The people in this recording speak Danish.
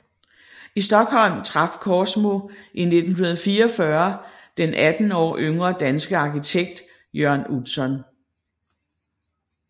I Stockholm traf Korsmo i 1944 den 18 år yngre danske arkitekt Jørn Utzon